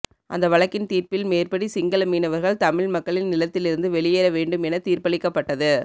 அந்த வழக்கின் தீர்ப்பில் மேற்படி சிங்கள மீனவர்கள் தமிழ் மக்களின் நிலத்திலிருந்து வெளியேற வேண்டும் என தீர்ப்பளிக்கப்பட்டது